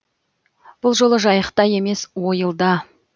бұл жолы жайықта емес ойылда